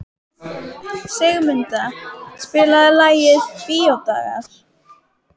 Sigurmunda, spilaðu lagið „Bíódagar“.